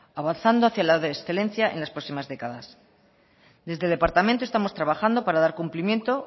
avanzando hacia la excelencia en las próximas décadas desde el departamento estamos trabajando para dar cumplimiento